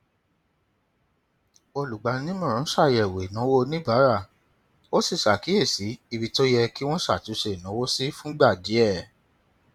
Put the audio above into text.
olùgbaninímọràn ṣàyẹwò ìnáwó oníbàárà ó sì ṣàkíyèsí ibi tó yẹ kí wọn ṣàtúnṣe ìnáwó sí fúngbà díẹ